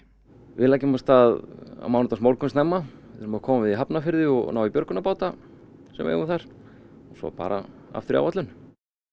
við leggjum af stað á mánudagsmorgun snemma við þurfum að koma við í Hafnarfirði og ná í björgunarbáta sem við eigum þar og svo bara aftur í áætlun